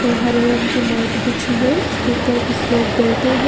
और हरे रंग की नेत बिछी है उसके ऊपर कुछ लोग बैठे हैं।